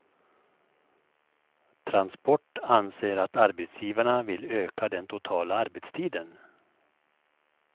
Transport anser att arbetsgivarna vill öka den totala arbetstiden.